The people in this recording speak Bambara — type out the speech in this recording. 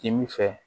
K'i bi fɛ